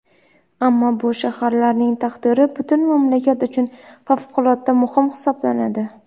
Ammo bu shaharlarning taqdiri butun mamlakat uchun favqulodda muhim hisoblanadi.